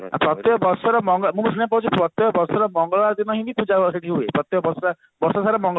ପ୍ରତ୍ୟକ ବର୍ଷର ମଙ୍ଗଳବାର ମାନେ ପ୍ରତ୍ୟକ ବର୍ଷର ମଙ୍ଗଳବାର ଦିନ ହିଁ ପୂଜା ହୁଏ ସେଠି ପ୍ରତ୍ୟକ ବର୍ଷସାରା ମଙ୍ଗଳବାର